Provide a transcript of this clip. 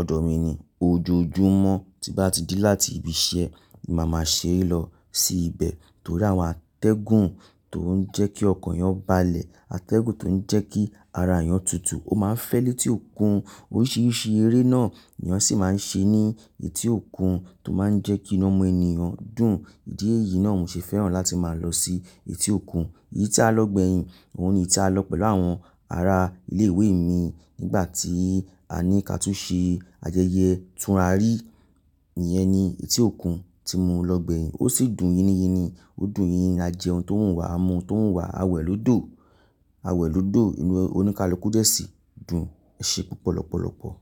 ọ̀dọ̀ mi ni ojoojúmọ́, tí bá ti di láti ibi iṣẹ́ ni màá máa ṣ'ere lọ sí ibẹ̀. Torí àwọn atẹ́gùn tó ń jẹ́ kí ọkan eyan balẹ̀, atẹ́gùn tó ń jẹ́ kí ara ẹyan tutù, ó máa ń fẹ́ létí òkun. Oríṣiríṣi eré náà ni eeyan sì máa ń ṣe ní etí òkun tó máa ń jẹ́ kí iná ọmọ ènìyàn dùn. Ìdí èyí náà mo ṣe fẹ́ràn láti máa lọ sí etí òkun. Èyí tí a lọ gbẹ̀yin, òun ni ìta lọ pẹ̀lú àwọn ará ilé ìwé mi nígbà tí a ní ká tú ṣe ayẹyẹ ìtúnra rí. Ìyẹn ni etí òkun tí mo lọ gbẹ̀yin. Ó sì dùn yínyín ni. Ó dùn yínyìn, a jẹ ohun tó wùn wá, a mu ohun tó wùn wá, a wẹ̀ lódò, a wẹ̀ lódò inú oníkálukú dẹ́sì dùn ẹ ṣe púpọ̀ lọ́pọ̀lọpọ̀.